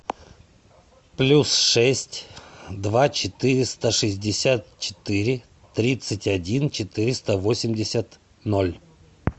плюс шесть два четыреста шестьдесят четыре тридцать один четыреста восемьдесят ноль